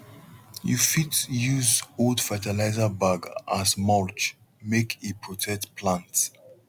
you fit use old fertilizer bag as mulch make e protect plant